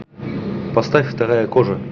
поставь вторая кожа